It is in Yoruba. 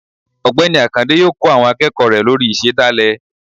Ọgbẹni akande yọọ kó àwọn akeéko lorí ìsedálẹ